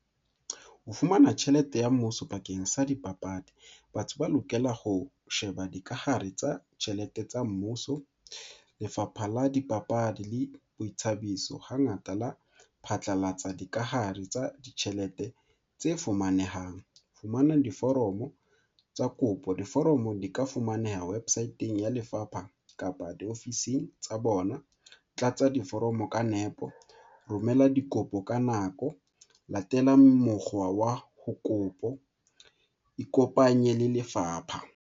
Ho fumana tjhelete ya mmuso bakeng sa dipapadi, batho ba lokela ho sheba dikahare tsa tjhelete tsa mmuso. Lefapha la Dipapadi le Boithabiso hangata la phatlalatsa dikahare tsa ditjhelete tse fumanehang, fumana diforomo tsa kopo, diforomo di ka fumaneha websit-eng ya lefapha kapa di ofising tsa bona. Tlatsa diforomo ka nepo, romela dikopo ka nako, latela mokgwa wa ho kopo, ikopanye le lefapha.